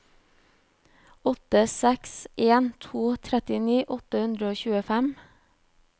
åtte seks en to trettini åtte hundre og tjuefem